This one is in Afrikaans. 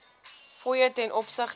fooie ten opsigte